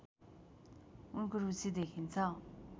उनको रुचि देखिन्छ